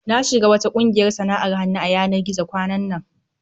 Na shiga wata ƙungiyar sana'ar hannu a yanar gizo kwanan nan.